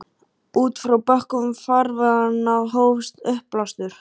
Út frá bökkum farveganna hófst uppblástur.